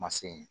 Ma se ye